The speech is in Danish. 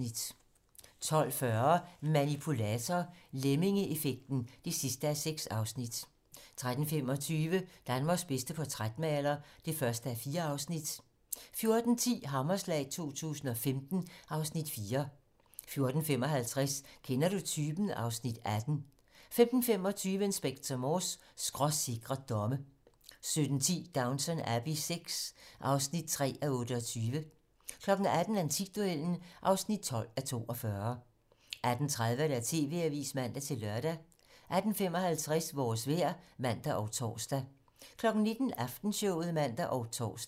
12:40: Manipulator - Lemmingeeffekt (6:6) 13:25: Danmarks bedste portrætmaler (1:4) 14:10: Hammerslag 2015 (Afs. 4) 14:55: Kender du typen? (Afs. 18) 15:25: Inspector Morse: Skråsikre domme 17:10: Downton Abbey IV (3:28) 18:00: Antikduellen (12:42) 18:30: TV-Avisen (man-lør) 18:55: Vores vejr (man og tor) 19:00: Aftenshowet (man og tor)